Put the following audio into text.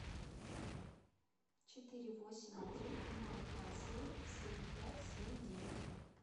четыре восемь один ноль два семь семь пять семь девять